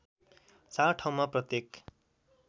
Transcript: ४ ठाउँमा प्रत्येक